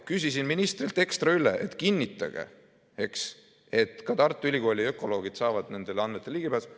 Küsisin ministrilt ekstra üle, et kinnitage, et ka Tartu Ülikooli ökoloogid saavad nendele andmetele ligipääsu.